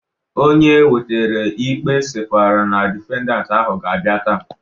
Onye wetara ikpe sịkwara na difendant ahụ ga-abịa taa